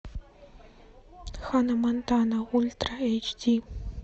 ханна монтана ультра эйч ди